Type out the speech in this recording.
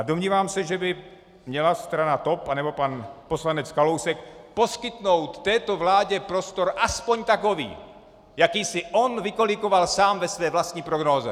A domnívám se, že by měla strana TOP nebo pan poslanec Kalousek poskytnout této vládě prostor aspoň takový, jaký si on vykolíkoval sám ve své vlastní prognóze.